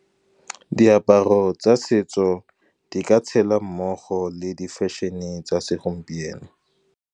Diaparo tsa setso di ka tshela mmogo le di-fashion-e tsa segompieno.